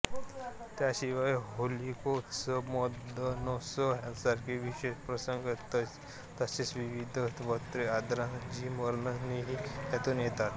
त्यांशिवाय होलिकोत्सव मदनोत्सव ह्यांसारखे विशेष प्रसंग तसेच विविध व्रते आचारादींची वर्णनेही त्यांतून येतात